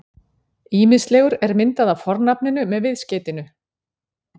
Ýmislegur er myndað af fornafninu með viðskeytinu-